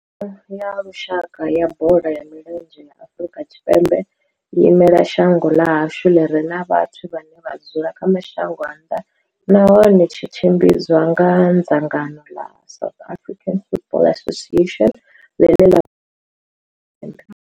Thimu ya lushaka ya bola ya milenzhe ya Afrika Tshipembe i imela shango ḽa hashu ḽi re na vhathu vhane vha dzula kha mashango a nnḓa nahone tshi tshimbidzwa nga dzangano la South African Football Association, ḽiṋe ḽa.